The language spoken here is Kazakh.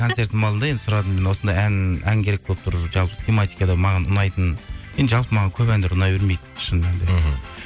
концертімнің алдында енді сұрадым осындай ән керек болып тұр жалпы тематикада маған ұнайтын енді жалпы маған көп әндер ұнай бермейді шын мәнінде мхм